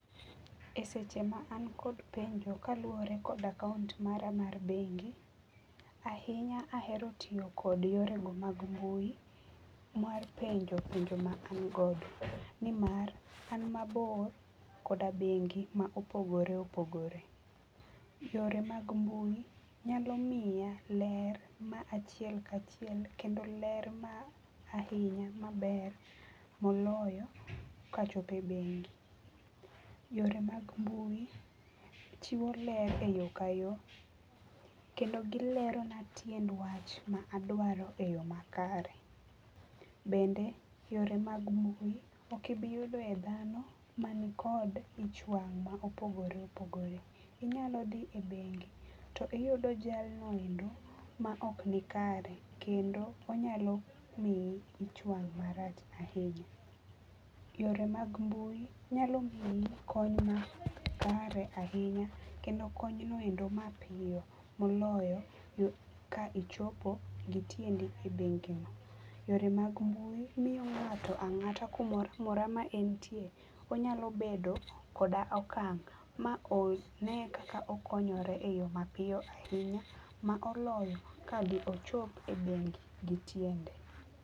E seche ma an kod penjo kaluore kod akaunt mara mar bengi, ahinya ahero tiyo kod yorego mag mbui mar penjo penjo ma an godo nimar an mabor koda bengi ma opogore opogore. Yore mag mbui nyalo miya ler ma achiel ka achiel kendo ler ma ahinya maber moloyo kachopo e bengi. Yore mag mbui chiwo ler e yoo ka yoo kendo gilerona tiend wach ma adwaro e yoo makare. Bende yore mag mbui okibi yudoe dhano mani kod ich wang ma opogore opogore, inyao dhi e bengi to iyudo jalno endo maok nikare kendo onyalo miyi ich wang marach ahinya. Yore mag mbui nyalo miyi kony makare ahinya kendo kony noendo mapiyo moloyo ka ichopo gi tiendi e bengino. Yore mag mbui miyo ngato angata kumoro amora ma entie nyalo bedo koda okang ma one kaka okonyore e yoo mapiyo ahinya moloyo ka ochop e bengi gi tiende